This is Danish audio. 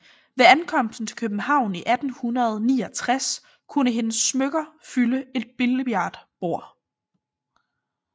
Ved ankomsten til København i 1869 kunne hendes smykker fylde et billardbord